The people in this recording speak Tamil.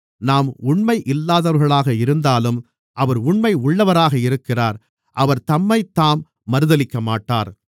நாம் உண்மை இல்லாதவர்களாக இருந்தாலும் அவர் உண்மை உள்ளவராக இருக்கிறார் அவர் தம்மைத்தாம் மறுதலிக்கமாட்டார்